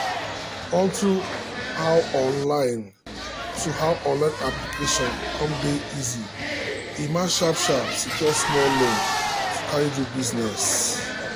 on to how online to how online application cum dey easy emma sharp-sharp secure small loan to carry do business.